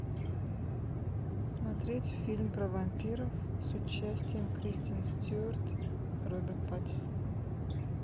смотреть фильм про вампиров с участием кристен стюарт роберт паттинсон